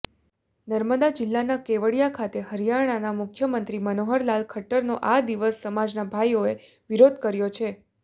નર્મદા જિલ્લાના કેવડિયા ખાતે હરિયાણાના મુખ્યમંત્રી મનોહરલાલ ખટ્ટરનો આદિવાસ સમાજના ભાઈઓએ વિરોધ કર્યો છે